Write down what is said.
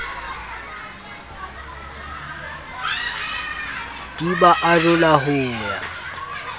di ba arola ho ya